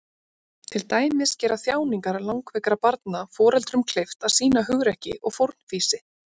Til dæmis gera þjáningar langveikra barna foreldrum kleift að sýna hugrekki og fórnfýsi.